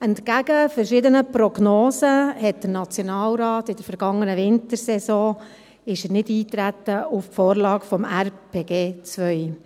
Entgegen verschiedener Prognosen ist der Nationalrat in der vergangenen Wintersession nicht auf die Vorlage zur zweiten Etappe der Revision des Raumplanungsgesetzes (RPG 2) eingetreten.